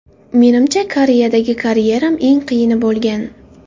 Menimcha, Koreyadagi karyeram eng qiyini bo‘lgan.